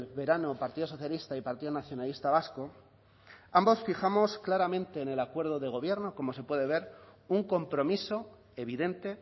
verano partido socialista y partido nacionalista vasco ambos fijamos claramente en el acuerdo de gobierno como se puede ver un compromiso evidente